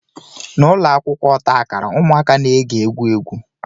N'ụlọ akwụkwọ ọta akara, ụmụaka na-ege egwu egwu